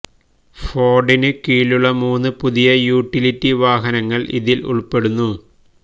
ഫോർഡിന് കീഴിലുള്ള മൂന്ന് പുതിയ യൂട്ടിലിറ്റി വാഹനങ്ങൾ ഇതിൽ ഉൾപ്പെടുന്നു